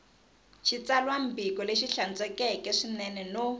xitsalwambiko lexi hlantswekeke swinene no